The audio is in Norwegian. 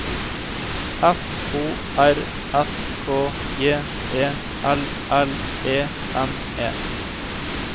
F O R S K J E L L E N E